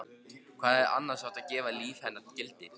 Hvað hefði annars átt að gefa lífi hennar gildi?